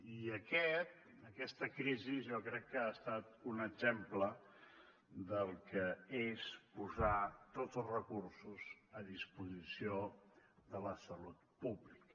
i aquest en aquesta crisi jo crec que ha estat un exemple del que és posar tots els recursos a disposició de la salut pública